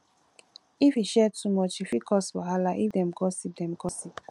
if you share too much e fit cause wahala if dem gossip dem gossip